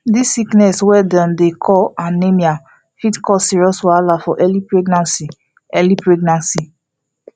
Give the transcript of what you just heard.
this sickness wey dem dey call anemia fit cause serious wahala for early pregnancy early pregnancy